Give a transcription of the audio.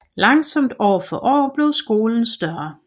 Langsomt år for år blev skolen større